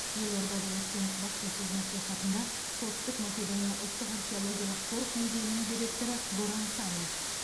елордада өткен баспасөз мәслихатында солтүстік македония ұлттық археологиялық қорық музейінің директоры горан санев